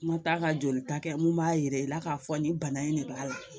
N ma taa ka joli ta kɛ mun b'a yira i la k'a fɔ nin bana in de b'a la